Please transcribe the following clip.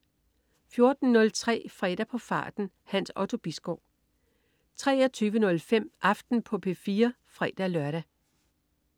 14.03 Fredag på farten. Hans Otto Bisgaard 23.05 Aften på P4 (fre-lør)